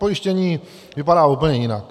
Pojištění vypadá úplně jinak.